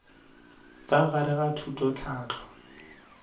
ka gare ga thuto tlhahlo